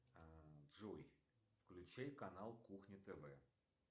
джой включи канал кухня тв